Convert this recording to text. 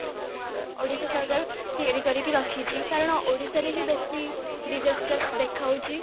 ଅ ଓଡ଼ିଶା ସରକାର ତିଆରି କରିକି ରଖିଛି କାରଣ ଓଡ଼ିଶାରେ ହି ବେଶୀ disasters ଦେଖା ଯାଉଛି